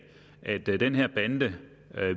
at den her bande